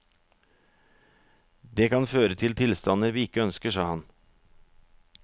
Det kan føre til tilstander vi ikke ønsker, sa han.